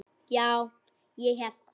Já, ég hélt.